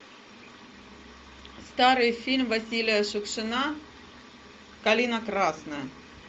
старый фильм василия шукшина калина красная